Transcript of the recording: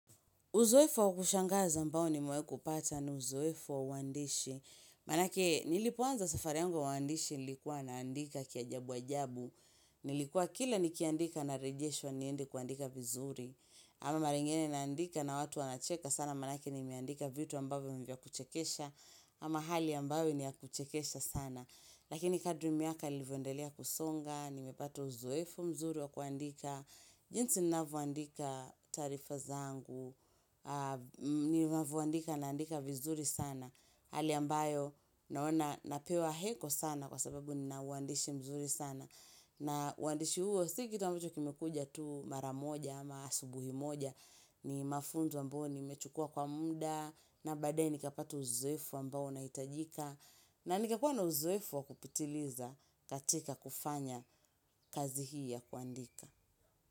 Uzoevu wa kushangaza ambao nimewai kupata ni uzoevu wa uandishi. Maanake, nilipoanza safari yangu uandishi nilikuwa naandika kiajabu ajabu. Nilikuwa kila nikiandika narejeshwa niende kuandika vizuri. Ama mara ingine naandika na watu wanacheka sana maanake nimeandika vitu ambavyo ni vya kuchekesha. Ama hali ambayo ni ya kuchekesha sana. Lakini kadri miaka ilivyoendelea kusonga, nimepata uzoevu mzuri wa kuandika. Jinsi ninavyondika taarifa zangu, ninavyondika naandika vizuri sana Hali ambayo napewa heko sana kwa sababu nina uandishi mzuri sana na uandishi huo, si kitu ambacho kimekuja tu mara moja ama asubuhi moja ni mafunzo ambao nimechukua kwa muda na baadae nikapata uzoevu ambao unaitajika na nikakuwa na uzoevu wa kupitiliza katika kufanya kazi hii ya kuandika.